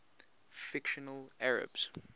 fictional arabs